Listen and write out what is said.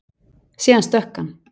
Síðan stökk hann.